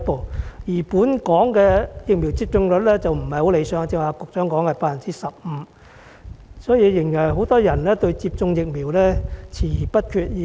反觀本港的疫苗接種率並不太理想，局長剛才說約為 15%， 顯示仍然有很多人對接種疫苗遲疑不決。